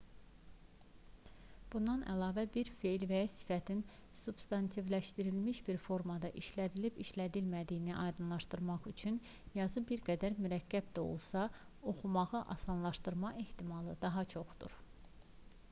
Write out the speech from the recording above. bundan əlavə bir fe'l və ya sifətin substantivləşdirilmiş bir formada işlədilib-işlədilmədiyini aydınlaşdırmaq üçün yazı bir qədər mürəkkəb də olsa oxumağı asanlaşdırma ehtimalı daha çoxdur